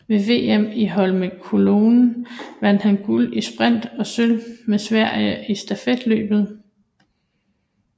Ved VM i Holmenkollen vandt han guld i sprint og sølv med Sverige i stafetløbet